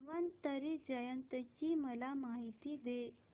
धन्वंतरी जयंती ची मला माहिती दे